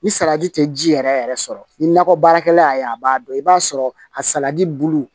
Ni salati tɛ ji yɛrɛ yɛrɛ sɔrɔ ni nakɔ baarakɛla y'a ye a b'a dɔn i b'a sɔrɔ a salati bulu